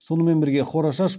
сонымен бірге хорошаш